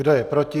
Kdo je proti?